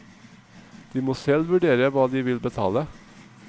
De må selv vurdere hva de vil betale.